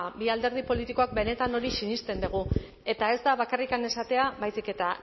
ba bi alderdi politikoek benetan hori sinesten dugu eta ez da bakarrik esatea baizik eta